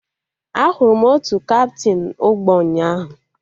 Ahụrụ m otu kaptịn ụgbọ ụnyaahụ